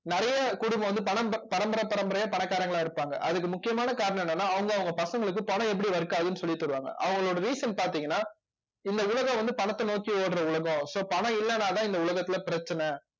நிறைய குடும்பம் வந்து பணம் ப பரம்பரை பரம்பரையா பணக்காரங்களா இருப்பாங்க அதுக்கு முக்கியமான காரணம் என்னன்னா அவங்க அவங்க பசங்களுக்கு பணம் எப்படி work ஆகுதுன்னு சொல்லித் தருவாங்க அவங்களோட reason பார்த்தீங்கன்னா இந்த உலகம் வந்து பணத்தை நோக்கி ஓடுற உலகம் so பணம் இல்லைன்னாதான் இந்த உலகத்திலே பிரச்சனை